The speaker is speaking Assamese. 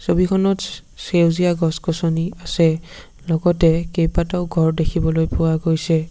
ছবিখনত সে সেউজীয়া গছ গছনি আছে লগতে কেইবাটাও ঘৰ দেখিবলৈ পোৱা গৈছে।